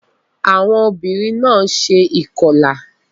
Awọn obinrin náà ṣe ikọla